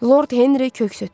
Lord Henri köks ötdürdü.